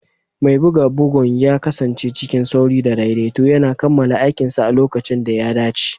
Mai buga bugun ya kasance cikin sauri da daidaito yana kammala aikinsa a lokacin da ya dace.